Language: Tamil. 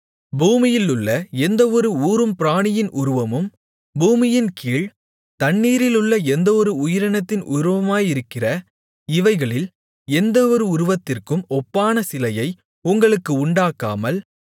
பூமியிலுள்ள எந்தவொரு ஊரும் பிராணியின் உருவமும் பூமியின்கீழ் தண்ணீரிலுள்ள எந்தவொரு உயிரினத்தின் உருவமாயிருக்கிற இவைகளில் எந்தவொரு உருவத்திற்கும் ஒப்பான சிலையை உங்களுக்கு உண்டாக்காமல்